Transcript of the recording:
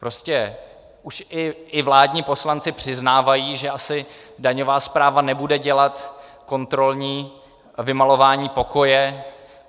Prostě už i vládní poslanci přiznávají, že asi daňová správa nebude dělat kontrolní vymalování pokoje.